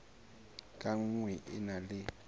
ka nngwe e na le